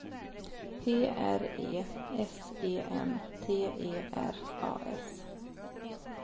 P R E S E N T E R A S